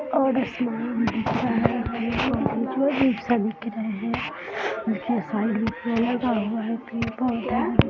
और इसमें और साइड में पेड़ लगा हुआ है पेड़-पौधा --